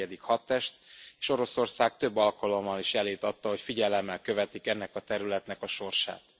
14. hadtest, és Oroszország több alkalommal is jelét adta, hogy figyelemmel követik ennek a területnek a sorsát.